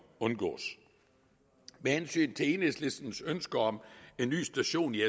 undgås med hensyn til enhedslistens ønske om en ny station i